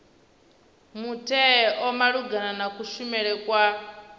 mutheo malugana na kushumele kwa